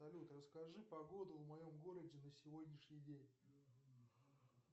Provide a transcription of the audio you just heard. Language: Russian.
салют расскажи погоду в моем городе на сегодняшний день